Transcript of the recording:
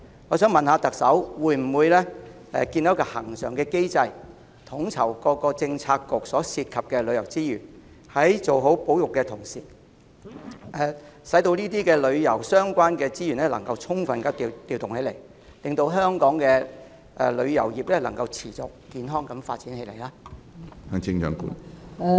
我想問特首會否建立恆常機制，以統籌各政策局所涉及的旅遊資源，在做好保育之餘，也能夠充分利用這些與旅遊相關的資源，令香港的旅遊業可持續健康地發展？